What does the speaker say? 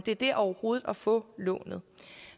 er det overhovedet at få lånet